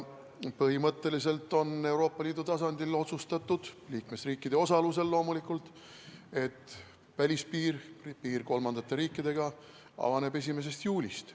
Põhimõtteliselt on Euroopa Liidu tasandil otsustatud, liikmesriikide osalusel loomulikult, et välispiir, piir kolmandate riikidega avaneb 1. juulist.